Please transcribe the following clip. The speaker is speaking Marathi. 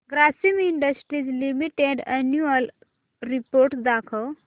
Grasim industries limited annual report दाखव